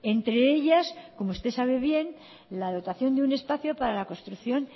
entre ellas como usted sabe bien la dotación de un espacio para la construcción